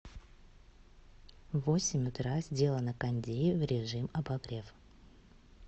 в восемь утра сделай на кондее в режим обогрев